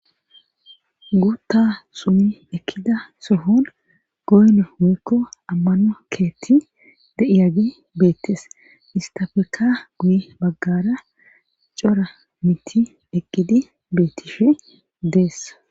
Gutta sumi ekkida sohon goyne hoykko ammano keetti de'iyage beettes istafeka guye baggara cora miti eqqidi beettifi deessa.